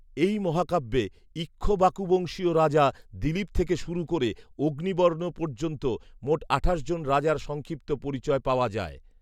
এই মহাকাব্যে ঈক্ষ্বাকুবংশীয় রাজা দিলীপ থেকে শুরু করে অগ্নিবর্ণ পর্যন্ত মোট আঠাশ জন রাজার সংক্ষিপ্ত পরিচয় পাওয়া যায়।